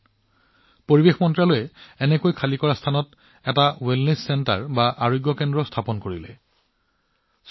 একেদৰে পৰিৱেশ মন্ত্ৰালয়ে ইয়াৰ খালী কৰা জাংকয়াৰ্ডক সুস্থতা কেন্দ্ৰলৈ ৰূপান্তৰিত কৰিছে